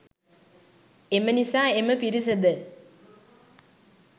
එම නිසා එම පිරිසද